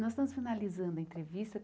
Nós estamos finalizando a entrevista.